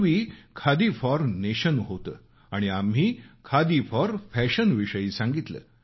पूर्वी khadi for nation होतं आणि आम्ही खादी फॉर फॅशन विषयी सांगितलं